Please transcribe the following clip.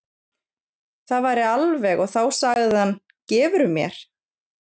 Það væri alveg og þá sagði hann, gefurðu mér?